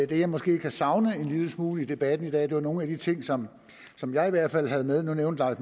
det jeg måske kan savne en lille smule i debatten i dag er nogle af de ting som som jeg i hvert fald havde med nu nævnte herre